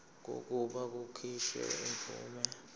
kokuba kukhishwe imvume